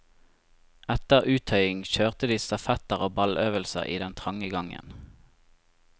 Etter uttøying kjørte de stafetter og balløvelser i den trange gangen.